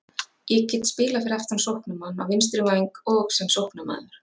Ég get spilað fyrir aftan sóknarmann, á vinstri væng og sem sóknarmaður.